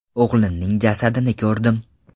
O‘g‘limning jasadini ko‘rdim.